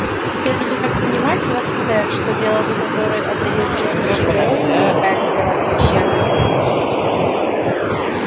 следует ли так понимать вас сэр что дело за которое отдают жизнь наши герои не является для вас священным